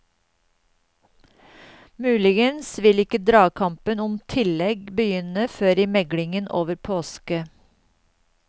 Muligens vil ikke dragkampen om tillegg begynne før i meglingen over påske.